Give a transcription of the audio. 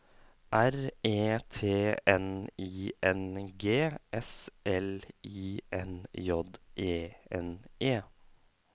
R E T N I N G S L I N J E N E